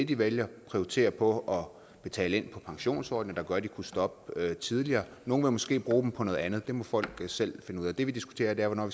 de vælger prioritere på at betale ind på pensionsordninger der gør at de kunne stoppe tidligere nogle vil måske bruge dem på noget andet det må folk selv finde ud af det vi diskuterer er hvornår